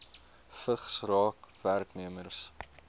vigs raak werknemers